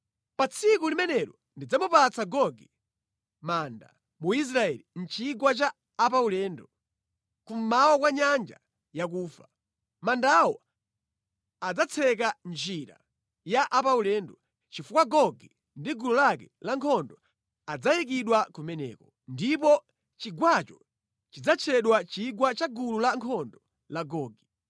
“Pa tsiku limenelo ndidzamupatsa Gogi manda mu Israeli, mʼchigwa cha apaulendo, kummawa kwa Nyanja Yakufa. Mandawo adzatseka njira ya apaulendo, chifukwa Gogi ndi gulu lake lankhondo adzayikidwa kumeneko. Ndipo chigwacho chidzatchedwa chigwa cha gulu lankhondo la Gogi.